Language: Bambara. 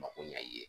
Mako ɲɛ i ye